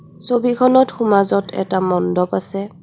ছবিখনত সোমাজত এটা মণ্ডপ আছে.